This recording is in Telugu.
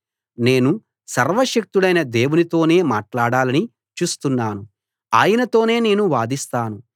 నేను సర్వశక్తుడైన దేవునితోనే మాట్లాడాలని చూస్తున్నాను ఆయనతోనే నేను వాదిస్తాను